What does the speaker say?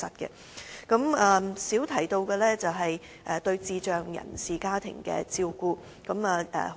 我們較少談及的是對智障人士家庭的照顧。